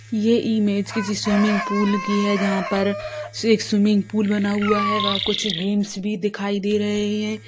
ये इमेज किसी swimming pool की है जहाँ पर एक स्विमिंग पूल बना हुआ है व कुछ गेम्स भी दिखाई दे रहे हैं।